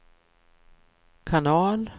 kanal